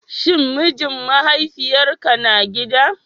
Shin mijin mahaifiyarka na gida?